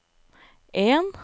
en